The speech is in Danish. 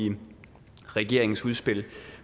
i regeringens udspil